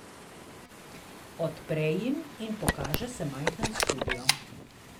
Odpre jih in pokaže se majhen studio.